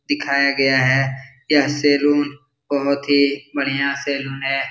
दिखाया गया है यह सलून बहुत हीं बढ़िया सलून है।